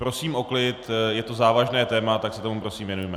Prosím o klid, je to závažné téma, tak se tomu prosím věnujme.